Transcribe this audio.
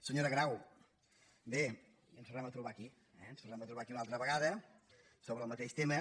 senyora grau bé i ens tornem a trobar aquí eh ens tornem a trobar aquí una al·tra vegada sobre el mateix tema